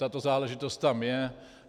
Tato záležitost tam je.